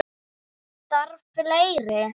Þarf fleiri?